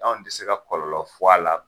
Anw ti se ka kɔlɔlɔ fɔ a la